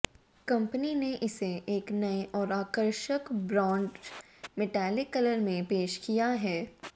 company ने इसे एक नए और आकर्षक ब्रॉन्ज मेटालिक कलर में पेश किया है